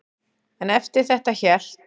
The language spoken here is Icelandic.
En eftir þetta hélt